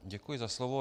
Děkuji za slovo.